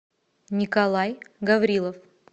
николай гаврилов